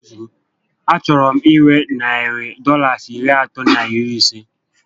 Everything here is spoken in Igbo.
A chọrọ m inwe narị Dọlas iri atọ na iri isé